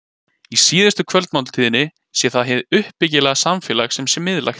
Í síðustu kvöldmáltíðinni sé það hið uppbyggilega samfélag sem sé miðlægt.